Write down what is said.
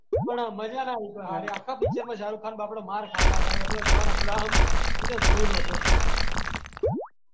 પઠાણ આયી હે ને ભાઈ. પઠાણ આયી હે આપણે થિયેટર પ્રિન્ટ આઈ એ જોઈયે ખરી ભાઈપણ મજા ના આઈ. આખા પિક્ચર માં શાહરુખ ખાન બાપડો માર ખા ખા કરે. જોન અબ્રાહમ એ ઈને ધોઈ નોખ્યો.